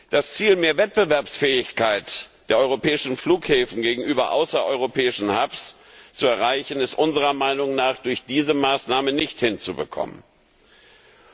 Das Ziel, mehr Wettbewerbsfähigkeit der europäischen Flughäfen gegenüber außereuropäischen Hubs zu erreichen, ist unserer Meinung nach durch diese Maßnahme nicht zu erreichen.